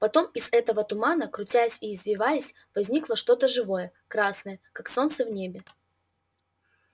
потом из этого тумана крутясь и извиваясь возникло что-то живое красное как солнце в небе